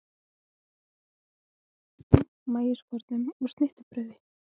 Berið fram með hrísgrjónum, maískornum og snittubrauði.